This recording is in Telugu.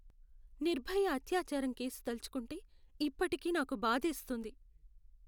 నిర్భయ అత్యాచారం కేసు తలచుకుంటే ఇప్పటికీ నాకు బాధేస్తుంది.